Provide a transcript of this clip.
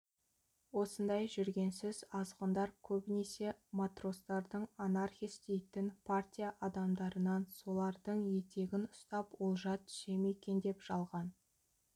осындай жүгенсіз азғындар көбінесе матростардың анархис дейтін партия адамдарынан солардың етегін ұстап олжа түсе ме екен деп жалған